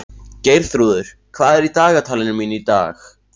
Geirþrúður, hvað er í dagatalinu mínu í dag?